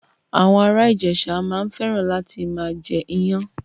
Àwọn ara Ijesa maa n feran lati maa je iyan